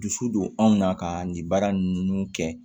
Dusu don anw na kaa nin baara ninnu kɛ